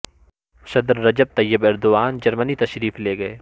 صدر Recep Tayyip Erdogan جرمنی تشریف لے گئے